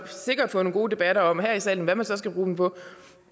sikkert få nogle gode debatter her i salen om hvad man så skal bruge dem på